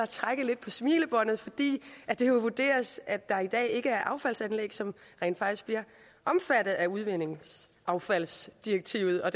trække lidt på smilebåndet fordi det jo vurderes at der i dag ikke er affaldsanlæg som rent faktisk bliver omfattet af udvindingsaffaldsdirektivet og